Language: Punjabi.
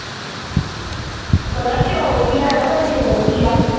ਪਤਾ ਕਿਓ ਵੀ ਹੈ ਨਾ ਵੀ ਸੂਗਰ ਵ ਆ